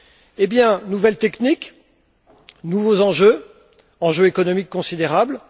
Eh bien, nouvelle technique, nouveaux enjeux enjeux économiques considérables.